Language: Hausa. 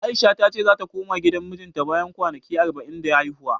A'isha ta ce zata koma gidan mijinta bayan kwanaki arba'in da haihuwa.